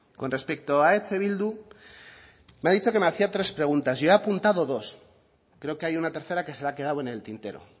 con respecto a eh bildu me ha dicho que me hacía tres preguntas yo ha apuntado dos creo que hay una tercera que se le quedado en el tintero